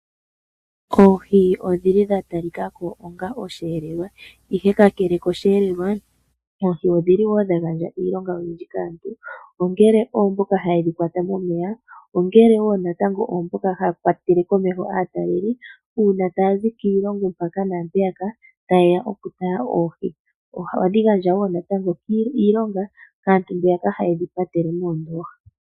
Oohi odhili dha talika ko onga oshiyelelwa, ihe kakele koshiyelelwa, oohi odhili wo dha gandja iilonga oyindji kaantu, ongele oyo mboka haye dhi kwata momeya nenge oyo mboka haya kwatele komeho aatalelipo uuna taya zi kiilongo yi ili noyi ili, taye ya okutala oohi. Ohadhi gandja wo natango iilonga kaantu mboka haye dhi patele mo.